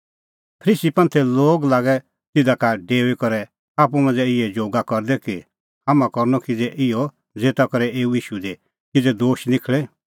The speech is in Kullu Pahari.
फरीसी लागै तिधा का डेऊई करै आप्पू मांझ़ै इहै जोग करदै कि हाम्हां करनअ किज़ै इहअ ज़ेता करै एऊ ईशू दी किज़ै दोश निखल़े